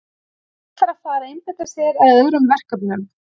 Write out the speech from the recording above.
Hann ætlar að fara að einbeita sér að öðrum verkefnum.